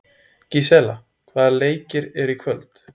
Gísela, hvaða leikir eru í kvöld?